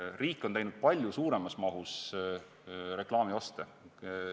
Riik on teinud palju suuremas mahus reklaamioste.